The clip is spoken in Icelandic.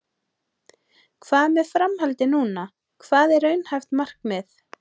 Hvað með framhaldið núna, hvað er raunhæft markmið?